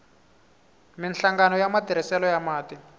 minhlangano ya matirhiselo ya mati